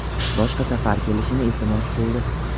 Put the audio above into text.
boshqa safar kelishini iltimos qildi.